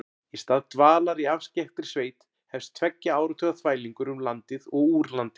Í stað dvalar í afskekktri sveit hefst tveggja áratuga þvælingur um landið og úr landi.